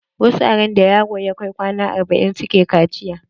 Wasu a randa yaro ya kai kwana arba'in suke kaciya.